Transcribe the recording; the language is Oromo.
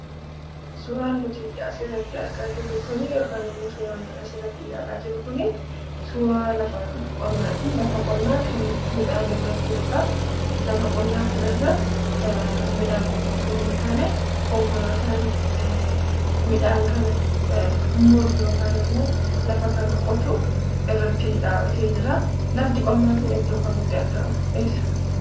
Suuraan nuti as irratti argaa jirru kuni, yookiinimmo suuraa har'a asirratti ilaalaa jirru kuni, suuraa lafa qonnati. lafa qonna kan midhaan irra jirudha. lafa qonna kanarra midhaan qofa osoo hin taane, konkolaatan midhaan kana, muru yookan immo, lafa kana qotu irra dhabbate jira. lafti qonna kun iddoo kamitti argama?